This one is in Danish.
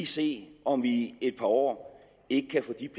se om vi i et par år ikke kan få de